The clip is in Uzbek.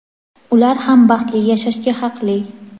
Ular ham baxtli yashashga haqli.